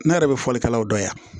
Ne yɛrɛ bɛ fɔlikɛlaw dɔnya